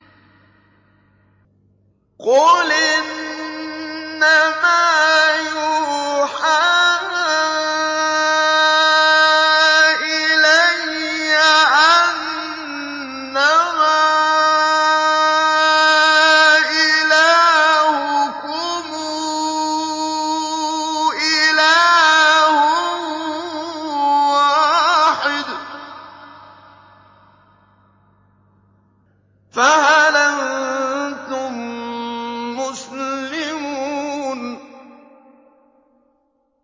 قُلْ إِنَّمَا يُوحَىٰ إِلَيَّ أَنَّمَا إِلَٰهُكُمْ إِلَٰهٌ وَاحِدٌ ۖ فَهَلْ أَنتُم مُّسْلِمُونَ